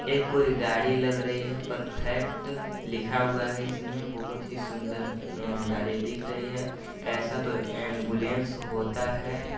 ये कोई गाड़ी लग रही है परफेक्ट लिखा हुआ है इसमे बहुत ही सुंदर अ_अ गाड़ी दिख रही है ऐसा तो एम्बुलेंस होता है।